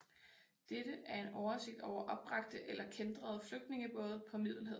Dette er en oversigt over opbragte eller kæntrede flygtningebåde på Middelhavet